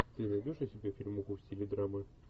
ты найдешь у себя фильмуху в стиле драмы